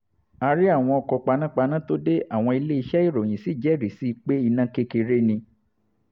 a rí àwọn ọkọ̀ panápaná tó dé àwọn iléeṣẹ́ ìròyìn sì jẹ́rìí sí i pé iná kékeré ni